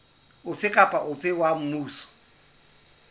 ofe kapa ofe wa mmuso